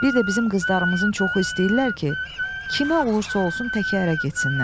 Bir də bizim qızlarımızın çoxu istəyirlər ki, kimə olursa olsun təkcə ərə getsinlər.